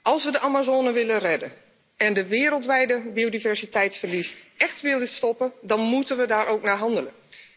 Als we de Amazone willen redden en het wereldwijde biodiversiteitsverlies écht willen stoppen, dan moeten we daar ook naar handelen.